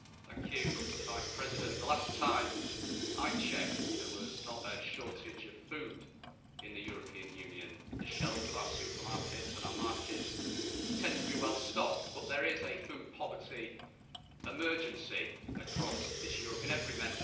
Mr President, the last time I checked there was not a shortage of food in the European Union. The shelves of our supermarkets and our markets tend to be well stocked, but there is a food poverty emergency across this Europe, in every Member State.